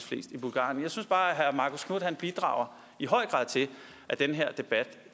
flest i bulgarien jeg synes bare herre marcus knuth i bidrager til at den her debat